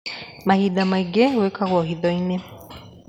Mahinda maingĩ gwikagwo hithoinĩ